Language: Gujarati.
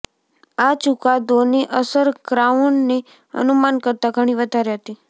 આ ચુકાદોની અસર ક્રાઉનની અનુમાન કરતાં ઘણી વધારે હતી